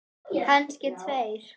Kannski tveir.